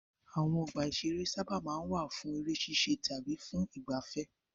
Àwọn ọgbà-ìṣeré sábà máa ń wà fún eré ṣíṣe tàbí fún ìgbaafẹ́.